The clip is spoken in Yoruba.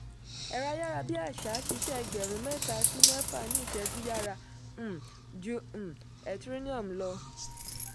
ẹ̀rọ ayárabíàṣá ṣiṣẹ́ ẹgbẹ̀rún mẹ́ta sí mẹ́fà ní ìṣẹ̀jú yára um ju um ethereum lọ.